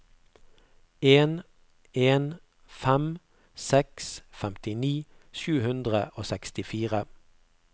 en en fem seks femtini sju hundre og sekstifire